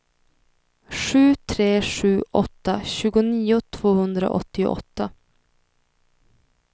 sju tre sju åtta tjugonio tvåhundraåttioåtta